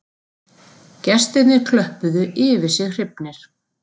Gestirnir klöppuðu yfir sig hrifnir